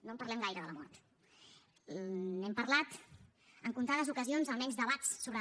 no en parlem gaire de la mort n’hem parlat en comptades ocasions almenys debats sobre